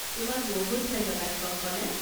তোমাক বহুত ধন্যবাদ কংকনা।